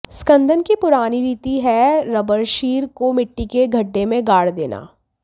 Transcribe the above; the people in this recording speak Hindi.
स्कंदन की पुरानी रीति है रबरक्षीर को मिट्टी के गड्ढे में गाड़ देना